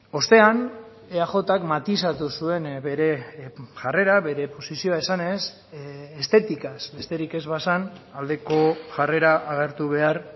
ostean eajk matizatu zuen bere jarrera bere posizioa esanez estetikaz besterik ez bazen aldeko jarrera agertu behar